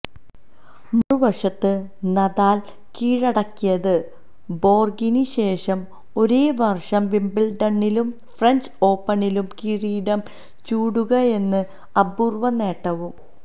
മറുവശത്ത് നദാല് കീഴടക്കിയത് ബോര്ഗിനു ശേഷം ഒരേ വര്ഷം വിംബിള്ഡണിലും ഫ്രെഞ്ച് ഓപ്പണിലും കിരീടം ചൂടുകയെന്ന അപൂര്വ്വനേട്ടവും